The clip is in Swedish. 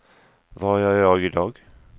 vad gör jag idag